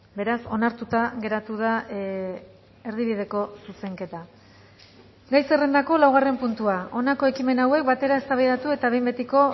beraz onartuta geratu da erdibideko zuzenketa gai zerrendako laugarren puntua honako ekimen hauek batera eztabaidatu eta behin betiko